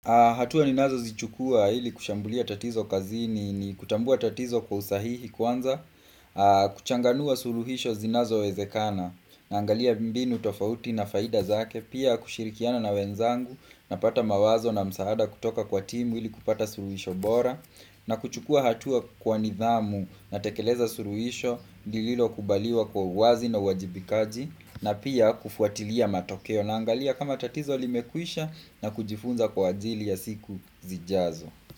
Hatua ninazo zichukua ili kushambulia tatizo kazini ni kutambua tatizo kwa usahihi kwanza kuchanganua suluhisho zinazo wezekana Nangalia mbinu tofauti na faida zake Pia kushirikiana na wenzangu napata mawazo na msaada kutoka kwa timu ili kupata suluhisho bora na kuchukua hatua kwa nidhamu na tekeleza suluhisho lililo kubaliwa kwa uwazi na uwajibikaji na pia kufuatilia matokeo na angalia kama tatizo limekwisha na kujifunza kwa ajili ya siku zijazo.